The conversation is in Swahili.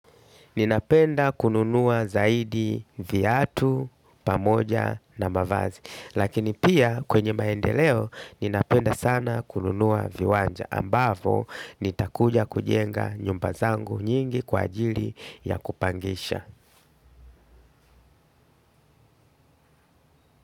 Ninapenda kununua zaidi viatu, pamoja na mavazi. Lakini pia kwenye maendeleo, ninapenda sana kununua viwanja. Ambavo, nitakuja kujenga nyumba zangu nyingi kwa ajili ya kupangisha.